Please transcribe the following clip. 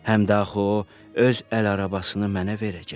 Həm də axı o öz əl arabasını mənə verəcək.